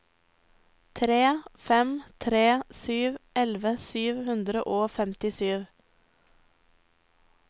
tre fem tre sju elleve sju hundre og femtisju